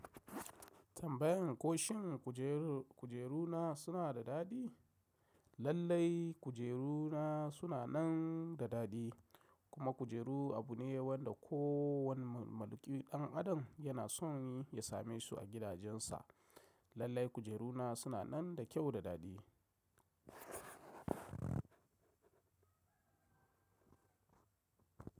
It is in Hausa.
Tambayan ko shin kujeru-kujeru na suna da daɗi? Lallai kujeru na suna nan da daɗi kuma kujeru abu ne wanda kowane maluƙii ɗan adam yana so ya same su a gidajensa. Lallai kujeru na suna nan da kyau da daɗi.